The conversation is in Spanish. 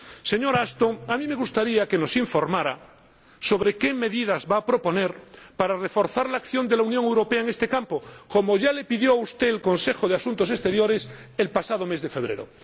Señora Ashton, a mí me gustaría que nos informara sobre qué medidas va a proponer para reforzar la acción de la Unión Europea en este campo, como ya le pidió a usted el Consejo de Asuntos Exteriores el pasado mes de febrero.